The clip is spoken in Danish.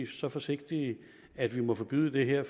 så forsigtige at vi må forbyde det her